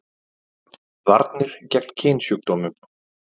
Varnir gegn kynsjúkdómum